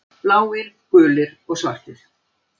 Bláir, gulir og svartir.